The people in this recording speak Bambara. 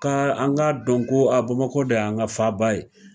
Ka an k'a dɔn ko a bamakɔ de y'an ka faba ye